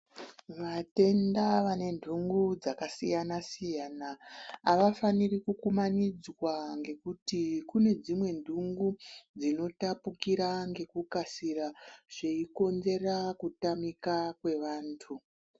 Vatenda vane ntungu dzakasiyana siyana avafaniri kukumanidzwa ngekuti kune dzimwe ntungu dzinotapukira ngekukasikira zveikonzera kutamika kwevantu.